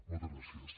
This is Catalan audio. moltes gràcies